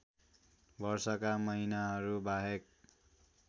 वर्षाका महिनाहरू बाहेक